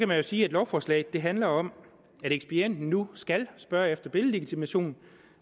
man jo sige at lovforslaget handler om at ekspedienten nu skal spørge efter billedlegitimation